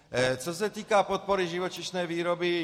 Co se týká podpory živočišné výroby.